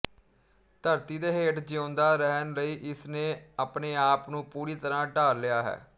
ਧਰਤੀ ਦੇ ਹੇਠ ਜਿਊਂਦਾ ਰਹਿਣ ਲਈ ਇਸ ਨੇ ਆਪਣੇਆਪ ਨੂੰ ਪੂਰੀ ਤਰ੍ਹਾਂ ਢਾਲ ਲਿਆ ਹੈ